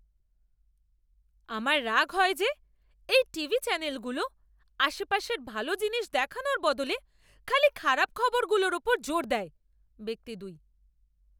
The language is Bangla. আমার রাগ হয় যে এই টিভি চ্যানেলগুলো আশপাশের ভাল জিনিস দেখানোর বদলে খালি খারাপ খবরগুলোর ওপর জোর দেয়। ব্যক্তি দুই